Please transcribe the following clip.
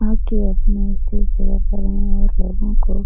वहाँ के अपने स्थिर जगह पर हैं और लोगो को --